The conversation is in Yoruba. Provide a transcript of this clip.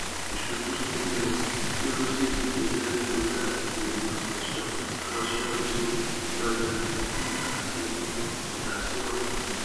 iṣubu ninu cirrhosis le jẹ nitori aiṣedede ]magnesium calcium zinc vitamin e ati um pòtásíọ̀mù